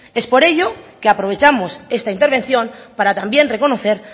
es por ello que aprovechamos esta intervención para también reconocer